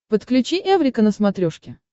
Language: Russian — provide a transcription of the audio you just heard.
подключи эврика на смотрешке